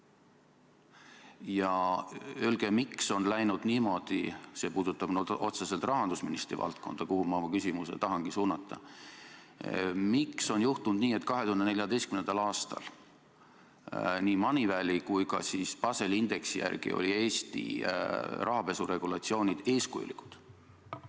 Ja öelge, miks on läinud niimoodi – see puudutab otseselt rahandusministri valdkonda, kuhu ma oma küsimuse tahan suunata –, et 2014. aastal olid nii Moneyvali kui ka Baseli indeksi järgi Eesti rahapesuregulatsioonid eeskujulikud.